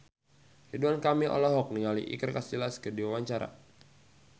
Ridwan Kamil olohok ningali Iker Casillas keur diwawancara